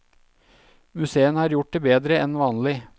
Museene har gjort det bedre enn vanlig.